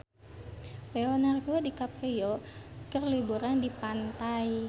Leonardo DiCaprio keur liburan di pantai